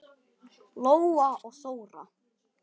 Lóa og Þóra.